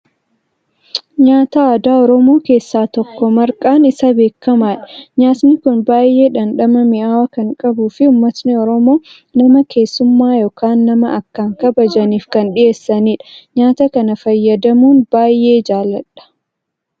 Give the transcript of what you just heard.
Nyaata aadaa Oromoo keessaa tokko, marqaan isa beekamaadha. Nyaatni Kun baayyee dhamdhama mi'aawaa kan qabuu fi uumatni Oromoo nama keessummaa yookaan nama akkaan kabajaniif kan dhiheessanidha. Nyaata kana fayyadamuu baayyeen jaaladha.